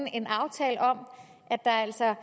en aftale om at der altså er